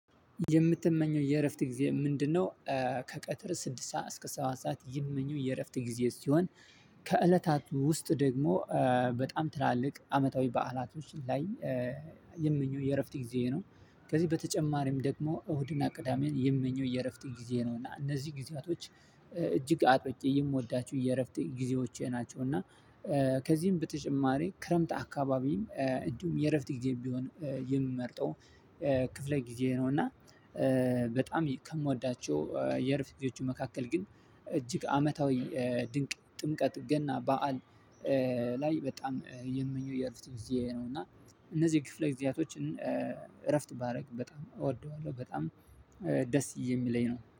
የምትመኘው የእረፍት ጊዜ ምንድነው? ከቀጥር ስድስት ሰዓት እስከ ሰባት ሰዓት ይምመኘው የእረፍት ጊዜ ሲሆን ከእለታቱ ውስጥ ደግሞ በጣም ትላልቅ አመታዊ በዐላቶች ላይ የምመኘው የእረፍት ጊዜ ነው። ከዚህ በተጨማሪም ደግሞ እሁድና ቅዳሜን የምመኘው የእረፍት ጊዜ ነው እና እነዚህ ጊዜያቶች እጅግ አጥብቄ የምወዳቸው የእረፍት ጊዜዎቼ ናቸው። እና ከዚህም በተጨማሪ ክረምት አካባቢም እንዲሁም የእረፍት ጊዜም ቢሆንም የምመርጠው ክፍለ ጊዜ ነው። እና በጣም ከምወዳቸው የእርፍት ጊዜዎች መካከል ግን እጅግ አመታዊ ድንቅ ጥምቀት ገና በዓል ላይ በጣም የምመኘው የእረፍት ጊዜ ነው። እና እነዚህ ክፍለ ጊዜያቶችን እረፍት ባደርግ በጣም እወደዋለሁ በጣም ደስ የሚለኝ ነው